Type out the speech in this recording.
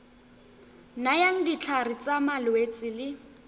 nayang ditlhare tsa malwetse le